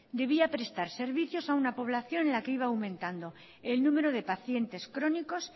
debía prestar servicios a una población en la que iba aumentando el número de pacientes crónicos